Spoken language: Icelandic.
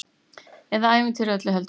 Eða ævintýrið öllu heldur!